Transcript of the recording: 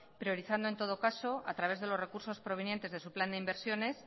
priorizando en todo caso a través de los recursos provenientes de su plan de inversiones